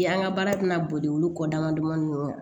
An ka baara tɛna boli olu kɔ dama damani